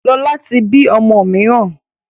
Lọ́la tí bí ọmọ mìíràn